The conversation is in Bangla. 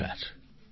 নমস্কার